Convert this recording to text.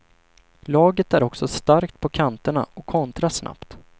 Laget är också starkt på kanterna och kontrar snabbt.